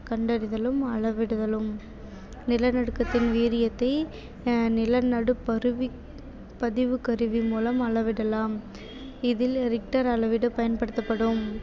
கண்டறிதலும் அளவிடுதலும் நிலநடுக்கத்தின் வீரியத்தை ஆஹ் நிலநடுப் பதிவுக்~ பதிவுக் கருவி மூலம் அளவிடலாம் இதில் richter அளவீடு பயன்படுத்தப்படும்